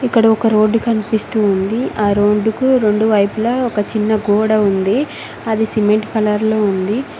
ఇక్కడ ఒక రోడ్డు కనిపిస్తుంది ఆ రోడ్డు కు రొండువైపులా ఒక చిన్న గోడ ఉంది అది సిమెంట్ కలర్లో ఉంది.